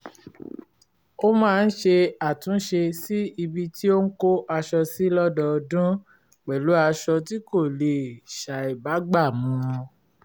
ó máa ń ṣe àtúnṣe sí ibi tí ó ń kó aṣọ sí lọ́dọọdún pẹ̀lú aṣọ tí kò lè ṣàìbágbàmú